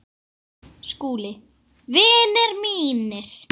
SKÚLI: Vinir mínir!